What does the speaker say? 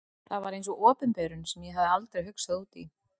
Það var eins og opinberun sem ég hafði aldrei hugsað út í.